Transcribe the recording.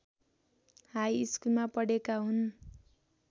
हाइस्कुलमा पढेका हुन्